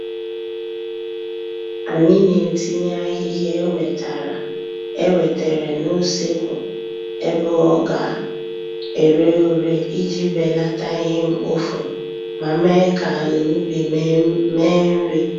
Anyị na-etinye ahịhịa e wetere n'useekwu ebe ọ ga ere ure iji belata ihe mkpofu ma mee ka ala ubi mee nri